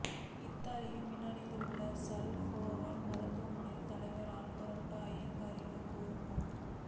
இத்தாலியின் மிலனில் உள்ள சான் ரஃபேல் மருத்துவமனையின் தலைவர் ஆல்பர்டோ ஜங்கரிலோ கூறும் போது